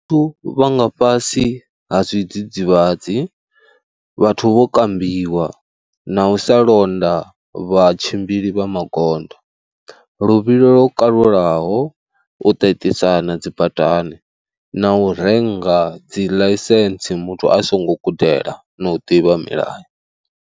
Vhathu vha nga fhasi ha zwidzidzivhadzi, vhathu vho kambiwa na u sa londa vha tshimbili vha magondo. Luvhilo lwo kalulaho, u ṱaṱisana dzi badani na u renga dzi ḽaisentsi muthu a songo gudela na u ḓivha milayo.